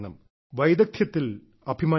വൈദഗ്ദ്ധ്യത്തിൽ അഭിമാനിക്കണം